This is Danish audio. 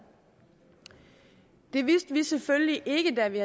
det vidste vi selvfølgelig ikke da vi